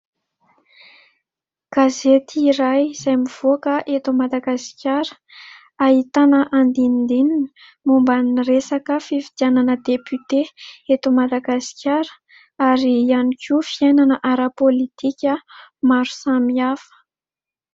Gazety iray izay mivoaka eto Madagasikara ahitana andindininy momban'ny resaka fifidianana "depute" eto Madagasikara ary ihany koa fiainana ara politika maro samihafa.